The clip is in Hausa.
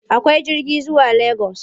Akwai jirgi zuwa Legas?